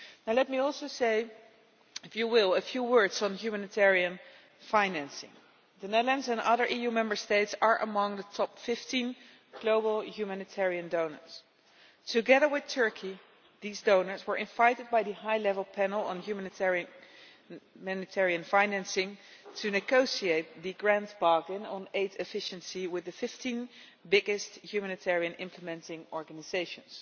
Let me also say a few words on humanitarian financing. The Netherlands and other EU Member States are among the top 15 global humanitarian donors. Together with Turkey, these donors were invited by the High-Level Panel on Humanitarian Financing to negotiate the Grand Bargain on aid efficiency with the 15 biggest humanitarian implementing organisations.